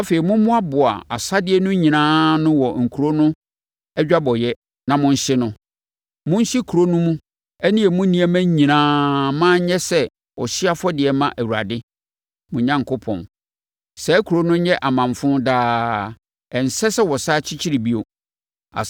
Afei, mommoaboa asadeɛ no nyinaa ano wɔ kuro no adwabɔeɛ na monhye no. Monhye kuro mu no ne emu nneɛma nyinaa mma ɛnyɛ sɛ ɔhyeɛ afɔdeɛ mma Awurade, mo Onyankopɔn. Saa kuro no nyɛ amamfo daa; ɛnsɛ sɛ wɔsane kyekyere bio.